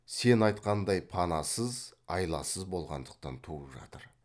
сен айтқандай панасыз айласыз болғандықтан туып жатыр